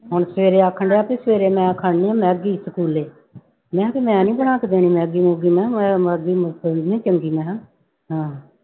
ਹੁਣ ਸਵੇਰੇ ਆਖਣਡਿਆ ਵੀ ਸਵੇਰੇ ਮੈਂ ਖਾਣੀ ਆਂ ਮੈਗੀ ਸਕੂਲੇ ਮੈਂ ਕਿਹਾ ਵੀ ਮੈਂ ਨੀ ਬਣਾ ਕੇ ਦੇਣੀ ਮੈਗੀ ਮੂਗੀ ਮੈਂ ਕਿਹਾ ਚੰਗੀ ਮੈਂ ਕਿਹਾ ਹਾਂ।